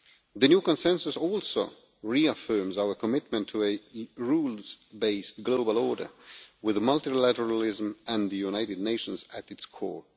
The new consensus also reaffirms our commitment to a rules based global order with multilateralism and the United Nations at its core.